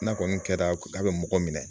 N'a kɔni kɛra k'a bɛ mɔgɔ minɛ